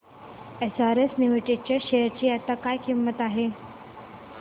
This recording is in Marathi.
एसआरएस लिमिटेड च्या शेअर ची आता काय किंमत आहे